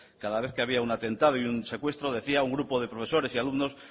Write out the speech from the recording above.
cada vez que había un atentado o un secuestro decía un grupo de profesores y alumnos